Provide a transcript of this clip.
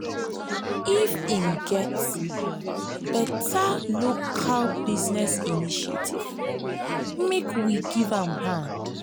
if im get local business get local business initiative make we give am hand.